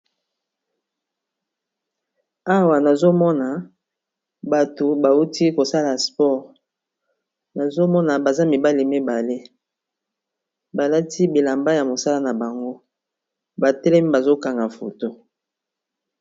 Awa nazomona bato bauti kosala sport nazomona baza mibali mibale balati bilamba ya mosala na bango batelemi bazokanga foto.